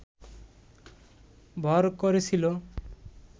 ভর করেছিল